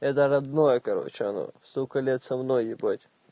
это родное короче оно столько лет со мной ебать